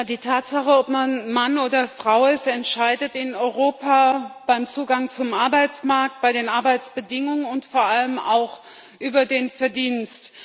Die Tatsache, ob man Mann oder Frau ist, entscheidet in Europa über den Zugang zum Arbeitsmarkt, über die Arbeitsbedingungen und vor allem auch über den Verdienst.